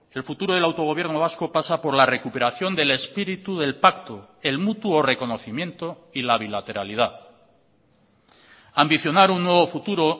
el futuro del autogobierno vasco pasa por la recuperación del espíritu del pacto el mutuo reconocimiento y la bilateralidad ambicionar un nuevo futuro